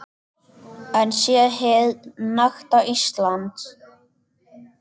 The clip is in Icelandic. Hún sé hið nakta Ísland.